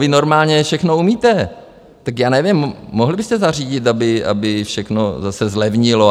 Vy normálně všechno umíte, tak já nevím, mohli byste zařídit, aby všechno zase zlevnilo.